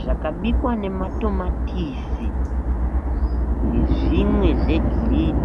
zvakabikwa nematomatisi nezvimwe zvegreen.